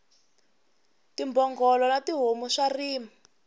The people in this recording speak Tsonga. timbhongolo na tihomu swa rima